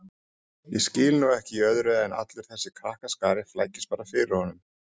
Ég skil nú ekki í öðru en allur þessi krakkaskari flækist bara fyrir honum